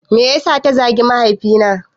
Me yasa ta zagi mahaifi na?